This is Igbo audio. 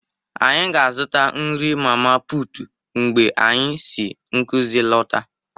Anyị ga-azụta nri mama putu mgbe anyị si nkuzi lọta